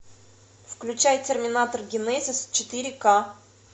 включай терминатор генезис четыре к